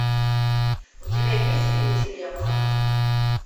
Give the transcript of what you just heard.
у тебя есть фильм дилемма